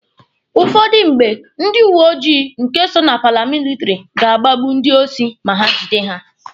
Ụfọdụ mgbe, ndị uweojii nke so na paramilitary ga-agbagbu ndị osi ma ha gide ha.